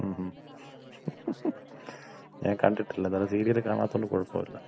മ്മ് മ്മ് ഞാന് കണ്ടിട്ടില്ല. ഏന്തായാലും സീരിയല് കാണാത്തോണ്ട് കൊഴപ്പോല്ല.